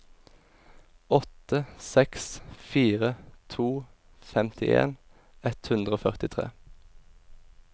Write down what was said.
åtte seks fire to femtien ett hundre og førtitre